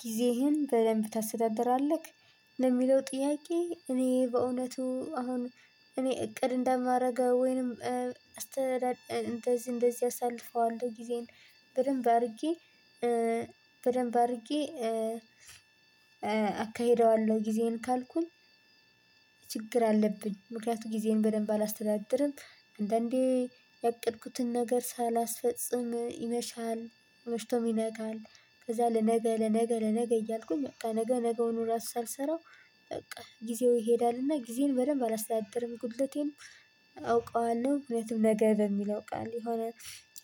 ጊዜህን በደንብ ታሰዳድራለክ? ለሚለው ጥያቄ እኔ በእውነቱ አሁን እኔ እቅድ እንደማረገው ወይንም አስተዳደር እንደዚህ አሳልፈዋለሁ ጊዜን በደንብ አድርጌ በደንብ አድርጌ አካሂደዋለው። ጊዜዬን ካልኩኝ ችግር አለብኝ ምክንያቱም ጊዜዬን በደንብ አላስተዳድርም። አንዳንዴ ያቀድኩትን ነገር ሳላስፈጽም ይመሻል መሽቶም ይነጋል። ከዛ ለነገ ለነገ ለነገ እያልኩኝ በቃ ነገ ነገውኑ ራሱ ሳልሰራው። በቃ ጊዜው ይሄዳልና ጊዜን በደንብ አላስተያደርም ጉድለቴንም አውቀዋለሁ። ምክንያቱም ነገ በሚለው ቃል የሆነ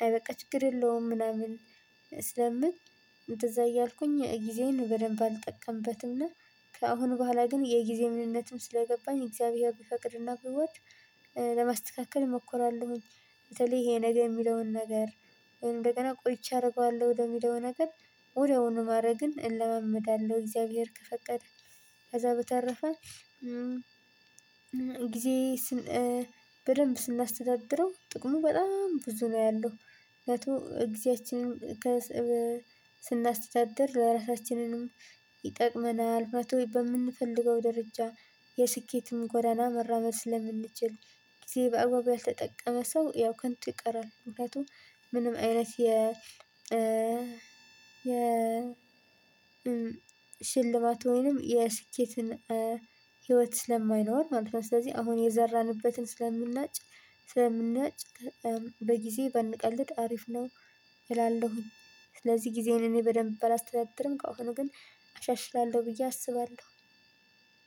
አይ በቃ ችግር የለውም ምናምን ስለምል እንደዛ እያልኩኝ ጊዜዬን በደንብ አልጠቀምበትም። እና ከአሁን በኋላ ግን የጊዜ ምንነትም ስለገባኝ የእግዚአብሔር ቢፈቅድና ቢወድ ለማስተካከል እሞክራለሁኝ። በተለይ ይሄ ነገ የሚለውን ነገር እንደገና ቆይቼ አረገዋለሁ ወደሚለው ነገር ወዲያውኑ ማረግን እለማመዳለሁ። እግዚአብሔር ከፈቀደ ከዛ በተረፈ ጊዜ በደንብ ስናስተዳድረው ጥቅሙ በጣም ብዙ ነው ያለው። ክንያቱ ጊዜያችንን ስናስተዳድር ለራሳችንም ይጠቅመናል። መቶ በምንፈልገው ደረጃ የስኬትም ጎዳና መራመድ ስለምንችል ጊዜ በአግባቡ ያልተጠቀመ ሰው ያው ከንቱ ይቀራል። ምክንያቱም ምንም አይነት የ የ ሽልማት ወይንም የስኬትን ሂወት ስለማይኖር ማለት ነው። ስለዚህ አሁን የዘራንበትን ስለምናጭ ስለምናጭድ በጊዜ ባንቀልድ አሪፍ ነው እላለሁኝ። ስለዚህ ጊዜን እኔ በደንብ አላስተዳድርም ከአሁኑ ግን አሻሽላለሁ ብዬ አስባለሁ።